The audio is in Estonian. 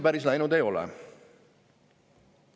Päris nii ei ole läinud.